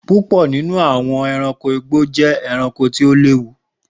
Púpò nínú àwọn ẹranko igbó jé ẹranko tí o léwu